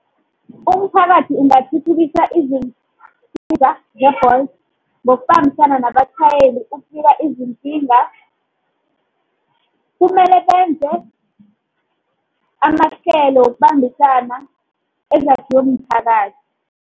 Umphakathi ungathuthukisa izinto nge-Bolt ngokubambisana nabatjhayeli izinkinga kumele benze amahlelo yokubambisana ezakhiwe mphakathi.